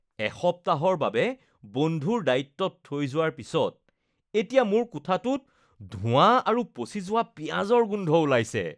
এসপ্তাহৰ বাবে বন্ধুৰ দায়িত্বত থৈ যোৱাৰ পিছত এতিয়া মোৰ কোঠাটোত ধোঁৱা আৰু পচি যোৱা পিঁয়াজৰ গোন্ধ ওলাইছে।